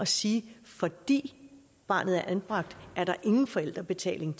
sige at fordi barnet er anbragt er der ingen forældrebetaling